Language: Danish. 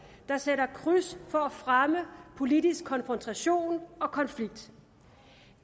der sætter kryds for at fremme politisk konfrontation og konflikt